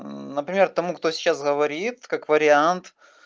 например тому кто сейчас говорит как вариант